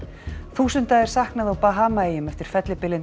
þúsunda er saknað á Bahamaeyjum eftir fellibylinn